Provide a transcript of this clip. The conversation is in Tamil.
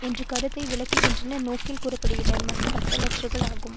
என்ற கருத்தை வளர்க்கின்ற நோக்கில் கூற படுகின்ற பிதற்றல்கள் ஆகும்